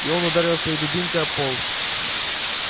и он ударил своей дубинкой об пол